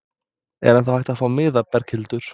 Er ennþá hægt að fá miða, Berghildur?